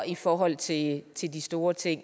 i forhold til til de store ting